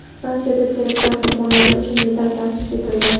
Fransiyada teraktlar qurbonlari uchun medal ta’sis etildi.